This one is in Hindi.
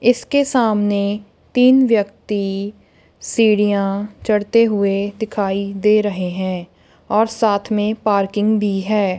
इसके सामने तीन व्यक्ति सीढ़ियां चढ़ते हुए दिखाई दे रहे है और साथ में पार्किंग भी है।